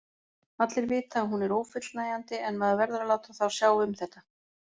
Allir vita að hún er ófullnægjandi en maður verður að láta þá sjá um þetta.